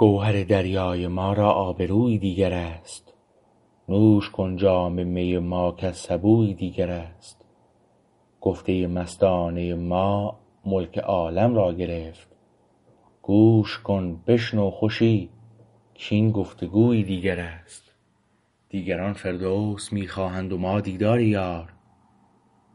گوهر دریای ما را آبرویی دیگر است نوش کن جام می ما کز سبویی دیگر است گفته مستانه ما ملک عالم را گرفت گوش کن بشنو خوشی کاین گفتگویی دیگر است دیگران فردوس می خواهند و ما دیدار یار